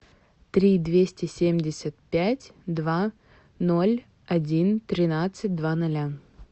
три двести семьдесят пять два ноль один тринадцать два ноля